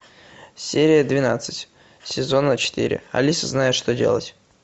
серия двенадцать сезона четыре алиса знает что делать